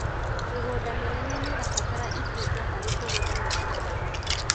Mĩgũnda mĩnene nĩrabatara itinga harĩkũgetha na kuhanda